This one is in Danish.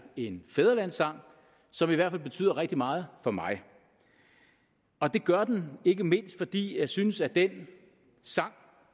en fædrelandssang som i hvert fald betyder rigtig meget for mig og det gør den ikke mindst fordi jeg synes at den sang